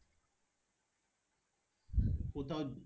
কোথাও